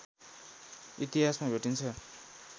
इतिहासमा भेटिन्छ